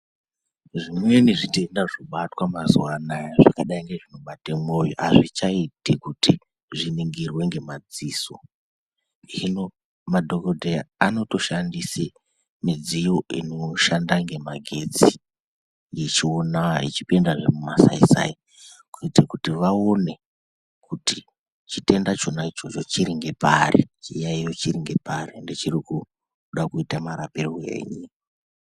Zvimweni zvitenda zvinobata mazuva ano zvakadai nezvekubata mwoyo azvichaiti kuti zviningirwe nemadziso hino madhokoteya anoshandisa midziyo inoshanda nemagetsi ichiona ichipinde he mumasaisai kuita kuti vaone kuti chitenda chona ichocho chiri nepari chiyaiyo chiri nepari ende choda kuitwa marapirwei.